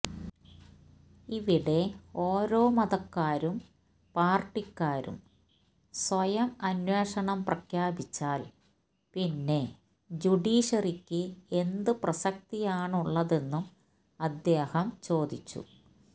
ഇവിടെ ഓരോ മതക്കാരും പാര്ട്ടിക്കാരും സ്വയം അന്വേഷണം പ്രഖ്യാപിച്ചാല് പിന്നെ ജുഡീഷ്യറിക്ക് എന്ത് പ്രസക്തിയാണുള്ളതെന്നും അദ്ദേഹം ചോദിച്ചു